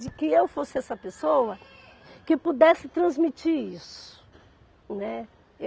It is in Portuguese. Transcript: De que eu fosse essa pessoa que pudesse transmitir isso, né.